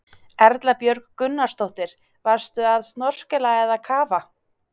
Erla Björg Gunnarsdóttir: Varstu að snorkla eða kafa?